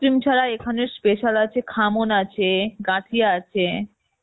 cream ছাড়া এখানে special আছে খামন আছে, গান্ঠিয়া আছে